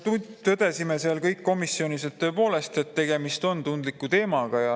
Tõdesime kõik seal komisjonis, et tõepoolest on tegemist tundliku teemaga.